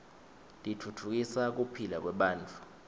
titfutfukisa kuphila kwebantfu